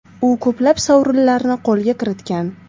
U ko‘plab sovrinlarni qo‘lga kiritgan.